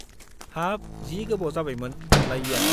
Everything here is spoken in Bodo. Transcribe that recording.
हाब , जि गोबाव जाबायमोन नुलायैया !